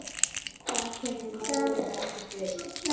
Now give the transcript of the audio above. Það kemur málinu ekkert við.